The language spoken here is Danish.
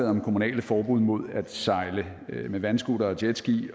om kommunalt forbud mod at sejle med vandscootere og jetski